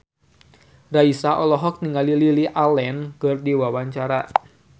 Raisa olohok ningali Lily Allen keur diwawancara